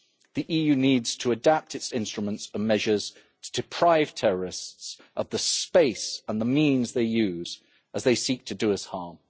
The EU needs to adapt its instruments and measures to deprive terrorists of the space and the means they use as they seek to do us harm.